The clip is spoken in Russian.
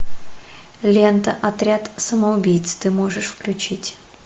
лента отряд самоубийц ты можешь включить